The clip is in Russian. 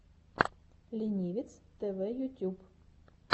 ленивец тэвэ ютюб